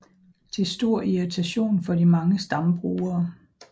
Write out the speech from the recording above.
Til stor irritation for de mange stambrugere